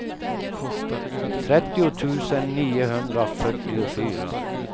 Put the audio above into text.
trettio tusen niohundrafyrtiofyra